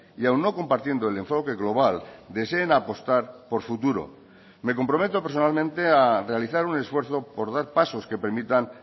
y aun no compartiendo el enfoque global deseen apostar por futuro me comprometo personalmente a realizar un esfuerzo por dar pasos que permitan